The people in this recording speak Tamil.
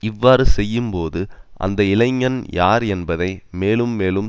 இவ்வாறு செய்யும் போது அந்த இளைஞன் யார் என்பதை மேலும் மேலும்